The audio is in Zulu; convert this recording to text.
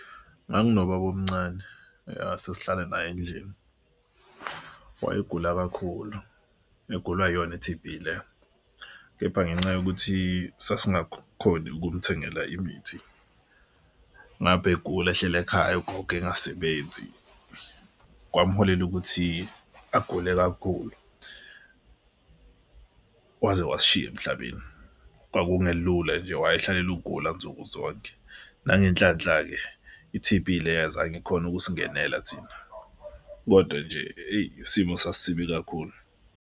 Nganginobabomncane yah sasihlala naye endlini, wayegula kakhulu egulwa iyona i-T_B le. Kepha ngenxa yokuthi sasingakhoni ukumthengela imithi, ngapha egula ehleli ekhaya ugogo engasebenzi kwamholela ukuthi agule kakhulu. Waze wasishiya emhlabeni. Kwakungelula nje wayehlala ukugula nsukuzonke. Nangenhlanhla-ke i-T_B leyo azange ikhone ukusingenela thina, kodwa nje eyi isimo sasisibi kakhulu.